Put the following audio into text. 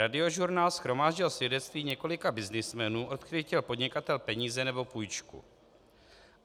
Radiožurnál shromáždil svědectví několika byznysmenů, od kterých chtěl podnikatel peníze nebo půjčku.